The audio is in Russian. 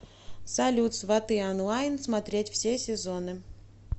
салют сваты онлайн смотреть все сезоны